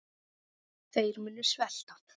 Þeir munu svelta.